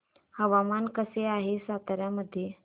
हवामान कसे आहे सातारा मध्ये